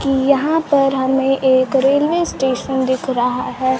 की यहां पर हमें एक रेलवे स्टेशन दिख रहा है।